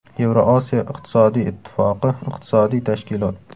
Yevrosiyo iqtisodiy ittifoqi iqtisodiy tashkilot.